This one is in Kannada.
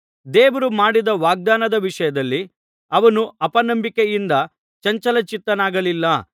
ದೇವರು ಮಾಡಿದ ವಾಗ್ದಾನದ ವಿಷಯದಲ್ಲಿ ಅವನು ಅಪನಂಬಿಕೆಯಿಂದ ಚಂಚಲಚಿತ್ತನಾಗಲಿಲ್ಲ